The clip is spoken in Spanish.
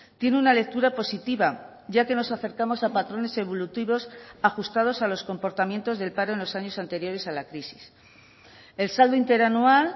tiene una lectura positiva ya que nos acercamos a patrones evolutivos ajustados a los comportamientos del paro en los años anteriores a la crisis el saldo interanual